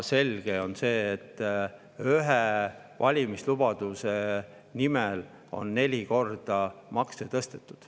Selge on see, et ühe valimislubaduse nimel on neli korda makse tõstetud.